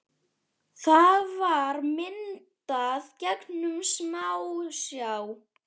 Það var myndað gegnum smásjá.